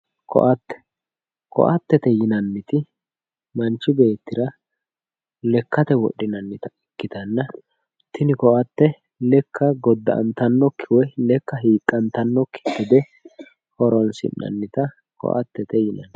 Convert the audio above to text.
koaatte, koaattete yinanniti manchu beettira lekkate wodhinannita ikitannna tini koaatte lekka godda''antannokki gede woy lekka hiqqantannokki gede horonsi'nannita koaattete yinanni